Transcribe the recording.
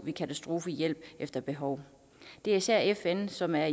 med katastrofehjælp efter behov det er især fn som er